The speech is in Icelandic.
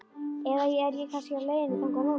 Eða er ég kannski á leiðinni þangað núna?